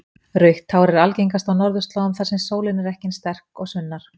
Rautt hár er algengast á norðurslóðum þar sem sólin er ekki eins sterk og sunnar.